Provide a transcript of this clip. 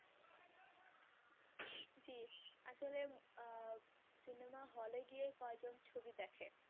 আসলে আহ বিনোদন hall এ গিয়ে কজন ছবি দেখে